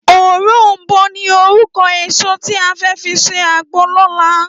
Órónbó ni órúkò ésó ti á fè fi sé àgbó lòlá